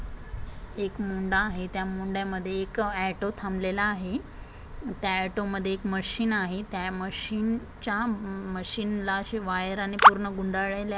एक मुंडा आहे त्या मुंड्यामध्ये एक ऑटो थंबलेला आहे त्या ऑटो मध्ये एक मशीन आहे त्या मशीन च्या मशीन ला अशी वायरने पूर्ण गुंडाळलेल्या--